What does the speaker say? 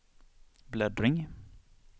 bläddring